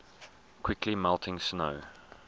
quickly melting snow